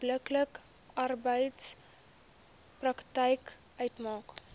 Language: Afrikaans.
onbillike arbeidspraktyk uitmaak